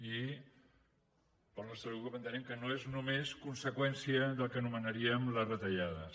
i el nostre grup entenem que no és només conseqüència del que anomenaríem les retallades